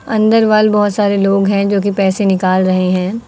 अंदर वाल बहुत सारे लोग हैं जो कि पैसे निकाल रहे हैं।